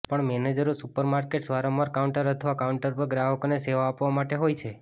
પણ મેનેજરો સુપરમાર્કેટ્સ વારંવાર કાઉન્ટર અથવા કાઉન્ટર પર ગ્રાહકોને સેવા આપવા માટે હોય છે